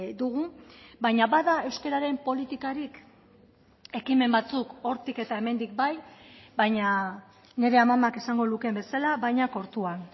dugu baina bada euskararen politikarik ekimen batzuk hortik eta hemendik bai baina nire amamak esango lukeen bezala bainak ortuan